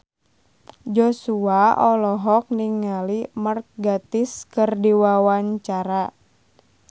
Joshua olohok ningali Mark Gatiss keur diwawancara